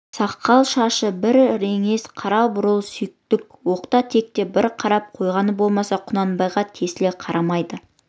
сақал-шашы бір реңдес қара бурыл сүйіндік оқта-текте бір қарап қойғаны болмаса құнанбайға тесіле қарамайды